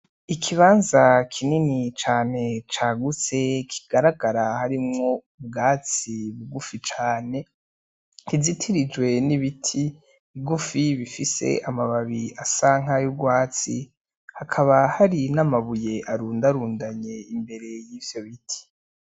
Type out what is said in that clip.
Ikibanza kinini cane cagutse kigaragara harimwo ubwatsi bugufi cane, kizitirijwe n'ibiti bigufi bifise amababi asa nkay'urwatsi hakaba hari n'amabuye arundarundanye imbere yivyo biti.